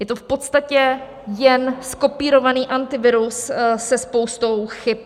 Je to v podstatě jen zkopírovaný Antivirus se spoustou chyb.